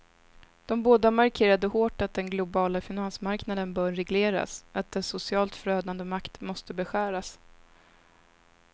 De båda markerade hårt att den globala finansmarknaden bör regleras, att dess socialt förödande makt måste beskäras.